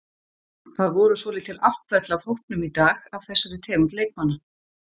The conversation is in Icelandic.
Það voru svolítil afföll af hópnum í dag af þessari tegund leikmanna.